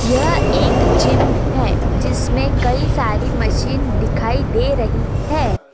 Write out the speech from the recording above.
यह एक जिम है जिसमें कई सारी मशीन दिखाई दे रही हैं।